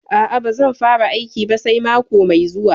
A'a, ba zan fara aiki ba sai mako mai zuwa.